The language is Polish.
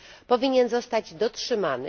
powinien zostać dotrzymany.